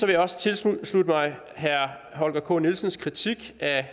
jeg også tilslutte mig herre holger k nielsens kritik af